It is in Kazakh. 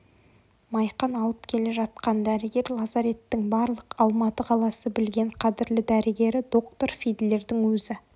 майқан алып келе жатқан дәрігер лазареттің барлық алматы қаласы білген қадірлі дәрігері доктор фидлердің өзі